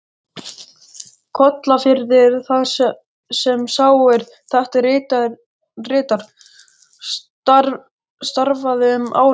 Kollafirði, þar sem sá, er þetta ritar, starfaði um árabil.